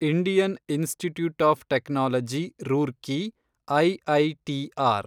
Indian Institute of Technology Roorkee IITR